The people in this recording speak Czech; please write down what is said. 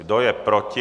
Kdo je proti?